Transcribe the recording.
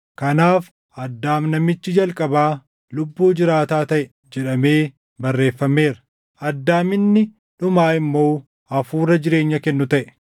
Kanaaf, “Addaam namichi jalqabaa lubbuu jiraataa taʼe” + 15:45 \+xt Uma 2:7\+xt* jedhamee barreeffameera; Addaam inni dhumaa immoo hafuura jireenya kennu taʼe.